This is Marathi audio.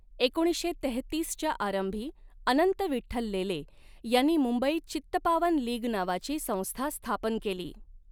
एकोणीसशे तेहतीसच्या आरंभी अनंत विठठ्ल लेले यांनी मुंबईत चित्तपावन लीग नावाची संस्था स्थापन केली.